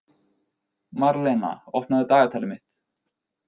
Marlena, opnaðu dagatalið mitt.